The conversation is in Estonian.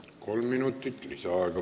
Kolm minutit lisaaega.